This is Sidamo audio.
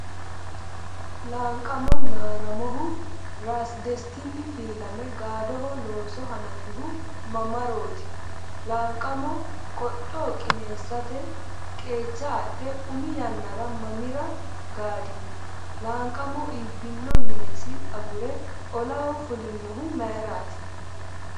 Laanqamo Naaramohu ‘Rasi Dastinni’ filame gaadu looso hanafihu mamarooti? Laanqamo qodho qineessate qeecha adhe umi yannara mamira gaadino? Laanqamo iibbino minesi agure olaho fulinohu mayraati?